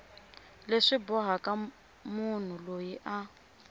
leswi bohaka munhu loyi a